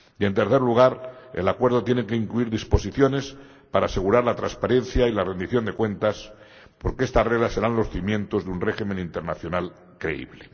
Y en tercer lugar, el acuerdo tiene que incluir disposiciones para asegurar la transparencia y la rendición de cuentas porque estas reglas serán los cimientos de un régimen internacional creíble.